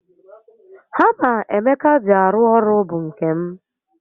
Hama Emeka ji arụ ọrụ bụ nke m